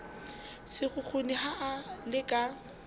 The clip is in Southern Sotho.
sekgukguni ha a le ka